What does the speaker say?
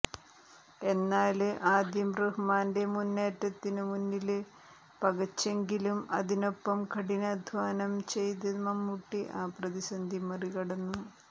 എന്നാല് ആദ്യം റഹ്മാന്റെ മുന്നേറ്റത്തിനുമുന്നില് പകച്ചെങ്കിലും അതിനൊപ്പം കഠിനാദ്ധ്വാനം ചെയ്ത് മമ്മൂട്ടി ആ പ്രതിസന്ധി മറികടന്നു